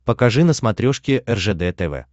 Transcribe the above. покажи на смотрешке ржд тв